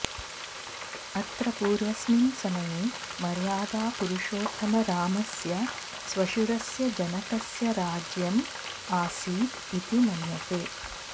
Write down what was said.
अत्र पूर्वस्मिन् समये मर्यादा पुरुषोत्तम रामस्य श्वसुरस्य जनकस्य राज्यं आसीत् इति मन्यते